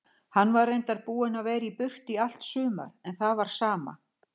Hann var reyndar búinn að vera í burtu í allt sumar en það var sama.